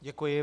Děkuji.